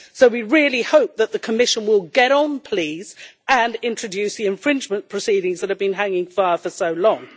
We really hope that the Commission will get on, please, and introduce the infringement proceedings that have been hanging for so long.